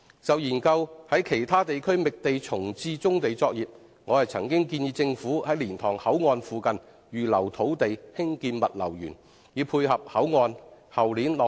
就研究在其他地區覓地重置棕地作業，我曾建議政府在蓮塘口岸附近預留土地興建"物流園"，以配合口岸於後年落成。